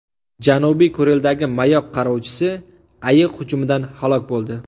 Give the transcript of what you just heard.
Janubiy Kurildagi mayoq qarovchisi ayiq hujumidan halok bo‘ldi.